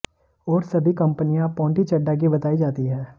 और सभी कंपनियां पोंटी चड्ढा की बताई जाती हैं